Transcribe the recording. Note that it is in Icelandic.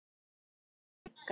Elsku Olla frænka.